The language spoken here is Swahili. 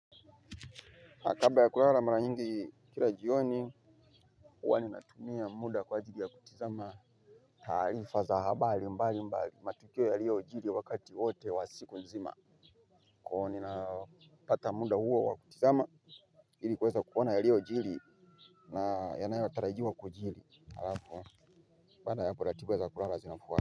Na kabla ya kulala mara nyingi kila jioni huwa ninatumia muda kwa ajiri ya kutizama taarifa za habari mbali mbali, matukio yalio jiri wakati wote wa siku nzima. Kwa ivo nina pata muda huo wa kutizama ili kuweza kuona ya lio jiri na yanayo tarajiwa kujiri. Pada yako ratiba ya kulara zinapuwa.